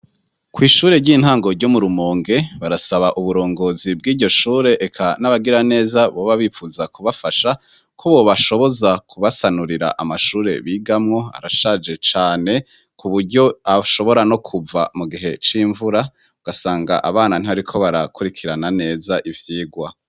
Kwishure ry'intango ryo mu Rumonge barasaba uburongozi bwiryo shure eka n'abagiraneza boba bipfuza kubafasha ko bobashoboza kubasanurira amashure bigamwo arashaje cane kuburyo ashobora no kuva mu gihe c'imvura ugasanga abana ntibariko barakurikirana neza ivyigwa.